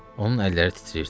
Onun əlləri titrəyirdi.